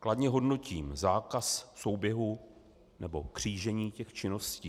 Kladně hodnotím zákaz souběhu nebo křížení těch činností.